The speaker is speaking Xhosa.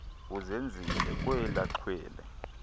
uzenzile kwela xhwele